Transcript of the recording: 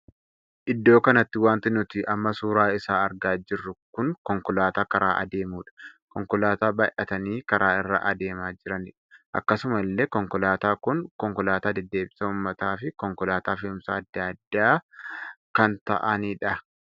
Iddoo kanatti wanti nuti amma suuraa isaa argaa jirru kun konkolaataa karaa adeemudha. konkolaataa baay'atanii karaa irra adeemaa jiranidha. akkasuma illee konkolaataa kun konkolaataa deddeebisa uummataa fi konkolaataa fe'umsa addaa addaa kan taa'anidha.